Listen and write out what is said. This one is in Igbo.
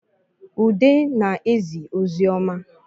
Ude na-ezi ozi ọma